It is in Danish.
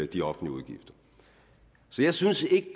de offentlige udgifter så jeg synes ikke